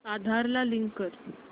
आधार ला लिंक कर